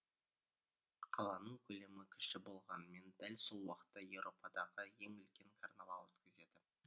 қаланың көлемі кіші болғанымен дәл сол уақытта еуропадағы ең үлкен карнавал өткізеді